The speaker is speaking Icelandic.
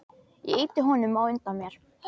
Ég ýti honum á undan mér.